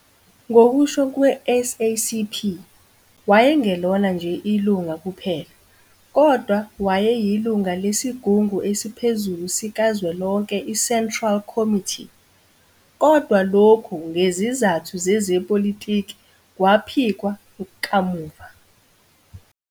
Ngokusho kwe-SACP, wayengelona nje ilunga kuphela, kodwa wayeyilunga lesigungu esiphezulu sikazwelonke i-Central Committee, kodwa lokhu ngezizathu zezepolitiki kwaphikwa kamuva.